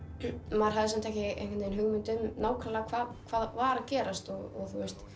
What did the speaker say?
maður hafði ekki hugmynd um hvað hvað var að gerast og